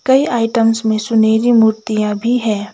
कई आइटम्स में सुनेहरी मूर्तियां भी है।